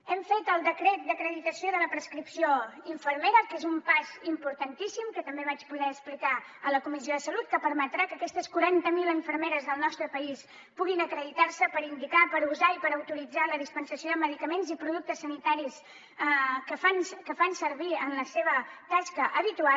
hem fet el decret d’acreditació de la professió infermera que és un pas importantíssim que també vaig poder explicar a la comissió de salut que permetrà que aquestes quaranta mil infermeres del nostre país puguin acreditar se per indicar per usar i per autoritzar la dispensació de medicaments i productes sanitaris que fan servir en la seva tasca habitual